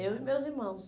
Eu e meus irmãos.